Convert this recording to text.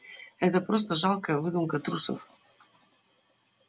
это просто жалкая выдумка трусов